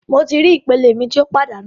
Mo ti ri ipele mi ti o padanu